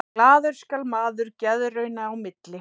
Glaður skal maður geðrauna í milli.